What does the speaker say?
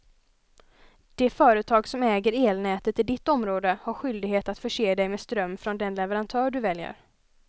Det företag som äger elnätet i ditt område har skyldighet att förse dig med ström från den leverantör du väljer.